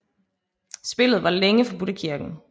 Spillet var længe forbudt af kirken